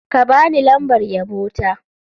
Ka ba ni lambar yabo ta.